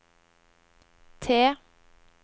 T